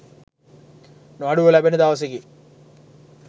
නොඅඩුව ලැබෙන දවසකි.